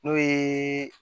N'o ye